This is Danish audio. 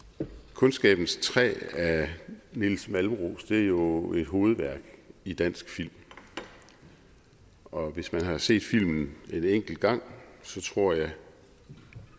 kundskabens træ af nils malmros er jo et hovedværk i dansk film og hvis man har set filmen en enkelt gang tror jeg